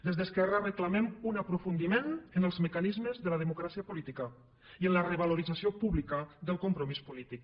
des d’esquerra reclamem un aprofundiment en els mecanismes de la democràcia política i en la revalorització pública del compromís polític